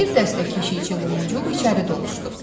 bir dəstə keşikçi Lumuq içəri doluşdu.